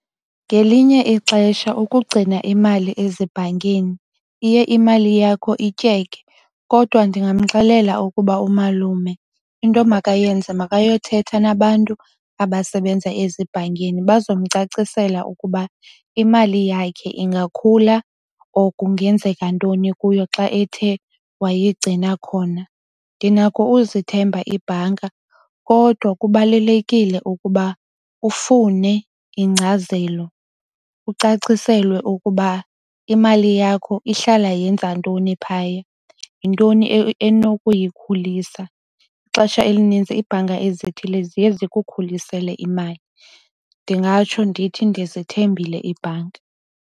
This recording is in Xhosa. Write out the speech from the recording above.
Ngelinye ixesha ukugcina imali ezibhankini iye imali yakho ityeke. Kodwa ndingamxelela ukuba umalume into emakayenze makayothetha nabantu abasebenza ezibhankini. Baza kumcacisela ukuba imali yakhe ingakhula or kungenzeka ntoni kuyo xa ethe wayigcina khona. Ndinako ukuzithemba ibhanka kodwa kubalulekile ukuba ufune ingcazelo, ucaciselwe ukuba imali yakho ihlala yenze ntoni phaya. Yintoni enokuyikhulisa. Ixesha elinintsi ibhanka ezithile ziye zikukhulisele imali. Ndingatsho ndithi ndizithembile iibhanki.